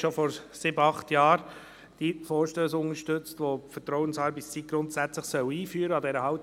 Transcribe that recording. schon vor sieben, acht Jahren die Vorstösse unterstützt, aufgrund derer die Vertrauensarbeitszeit grundsätzlich eingeführt werden soll.